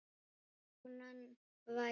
Konan væri ólétt.